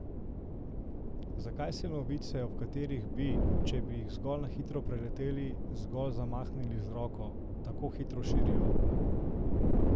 Zakaj se novice, ob katerih bi, če bi jih zgolj na hitro preleteli, zgolj zamahnili z roko, tako hitro širijo?